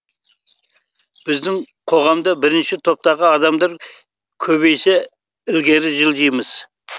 біздің қоғамда бірінші топтағы адамдар көбейсе ілгері жылжимыз